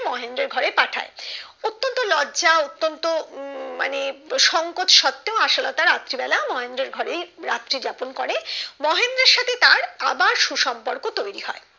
মহেন্দ্রের ঘরে পাঠায় অতন্ত লজ্জা অতন্ত্য উম মানে সংকোচ থাকতেও আশালতার রাত্রি বেলা মহেন্দ্রের ঘরেই রাত্রি যাপন করে মহেন্দ্রের সাথে তার আবার সুসম্পর্ক তৈরি হয়